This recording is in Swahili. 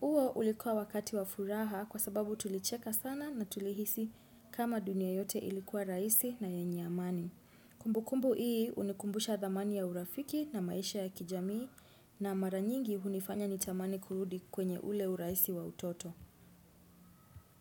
Huo ulikuwa wakati wafuraha kwa sababu tulicheka sana na tulihisi kama dunia yote ilikuwa raisi na yenye amani. Kumbu kumbu hii unikumbusha dhamani ya urafiki na maisha ya kijamii na maranyingi unifanya nitamani kurudi kwenye ule uraisi wa utoto.